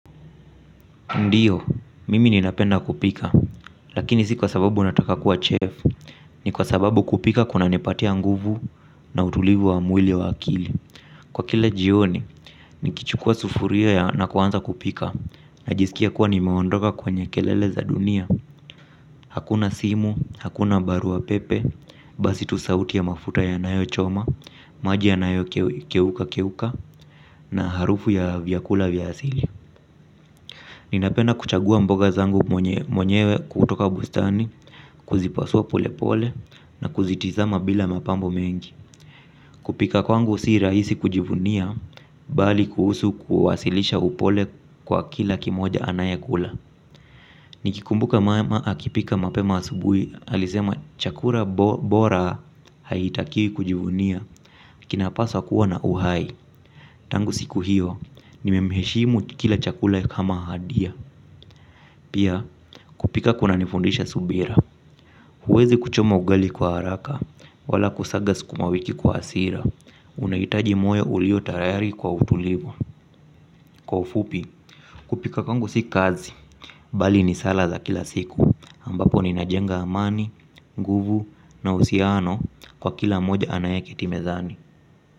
Ndiyo, mimi ninapenda kupika, lakini si kwa sababu nataka kuwa chef, ni kwa sababu kupika kuna nipatia nguvu na utulivu wa mwili wa akili. Kwa kila jioni, nikichukua sufuria ya na kuanza kupika, najisikia kuwa nimeondoka kwenye kelele za dunia. Hakuna simu, hakuna barua pepe, basi tu sauti ya mafuta yanayo choma, maji ya nayo keuka keuka, na harufu ya vyakula vya asili napenda kuchagua mboga zangu mwenyewe kutoka bustani kuzipasua polepole na kuzitizama bila mapambo mengi. Kupika kwangu si rahisi kujivunia bali kuhusu kuwasilisha upole kwa kila kimoja anaekula. Nikikumbuka mama akipika mapema asubuhi alisema chakula bora haitakiwi kujivunia kina paswa kuwa na uhai. Tangu siku hiyo, nimemheshimu kila chakula kama hadia. Pia kupika kuna nifundisha subira. Huwezi kuchoma ugali kwa haraka. Wala kusaga sukumawiki kwa hasira. Unahitaji moyo uliyo tayari kwa utulivu. Kwa ufupi kupika kwangu si kazi. Bali ni sala za kila siku ambapo ninajenga amani, nguvu na uhusiano kwa kila moja anaye keti mezani.